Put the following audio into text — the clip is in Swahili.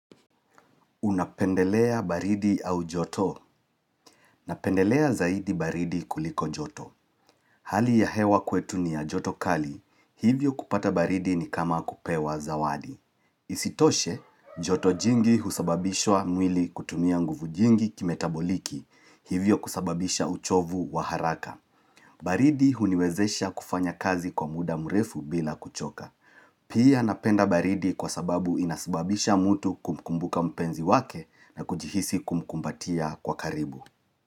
Unapendelea baridi au joto? Napendelea zaidi baridi kuliko joto Hali ya hewa kwetu ni ya joto kali, hivyo kupata baridi ni kama kupewa zawadi Isitoshe, joto jingi husababisha mwili kutumia nguvu jingi kimetaboliki, hivyo kusababisha uchovu wa haraka baridi huniwezesha kufanya kazi kwa muda mrefu bila kuchoka Pia napenda baridi kwa sababu inasibabisha mutu kumkumbuka mpenzi wake na kujihisi kumkumbatia kwa karibu.